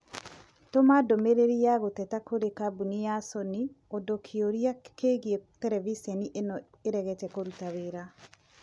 Tũma ndũmĩrĩri ya gũteta kũrĩ kambũni ya Sony ũndũ kĩũria kĩgiĩ terebiceni ĩno ĩregete kũrũta wĩra